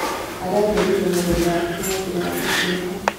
Aratheririe mũgũnda wake na njĩra ya gũfieka.